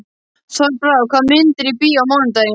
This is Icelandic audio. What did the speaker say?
Þorbrá, hvaða myndir eru í bíó á mánudaginn?